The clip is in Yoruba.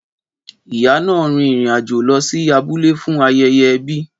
Ìyá náà rin ìrìn àjò lọ sí abúlé fún ayẹyẹ ẹbi.